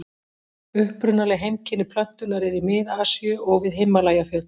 Upprunaleg heimkynni plöntunnar eru í Mið-Asíu og við Himalajafjöll.